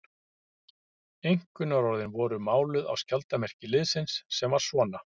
Einkunnarorðin voru máluð á skjaldarmerki liðsins, sem var svona